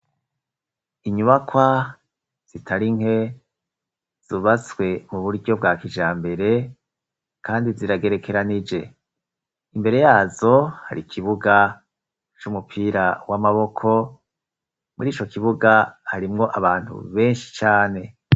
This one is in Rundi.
Inyubakwa zitari nke zubatswe mu buryo bwa kijambere kandi ziragerekeranije. Imbere yazo hari kibuga c'umupira w'amaboko muri ico kibuga harimwo abantu benshi cane.